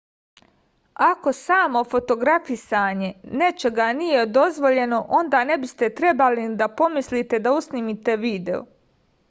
ako samo fotografisanje nečega nije dozvoljeno onda ne biste trebali ni da pomislite da usnimite video